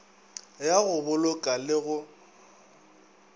ya go boloka le go